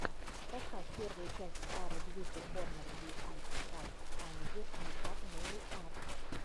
поставь первую часть сары бьюти корнер ди ай вай камеди мейкап нейл арт